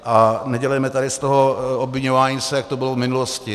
A nedělejme tady z toho obviňování se, jak to bylo v minulosti.